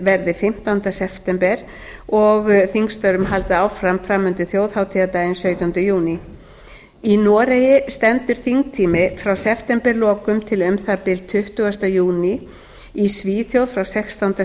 verði fimmtánda september og þingstörfum haldið áfram fram undir þjóðhátíðardaginn sautjánda júní í noregi stendur þingtími frá septemberlokum til um það bil tuttugasta júní í svíþjóð frá sextánda